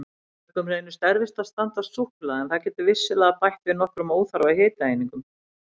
Mörgum reynist erfitt að standast súkkulaði en það getur vissulega bætt við nokkrum óþarfa hitaeiningum.